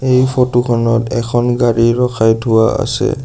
এই ফটো খনত এখন গাড়ী ৰখাই থোৱা আছে।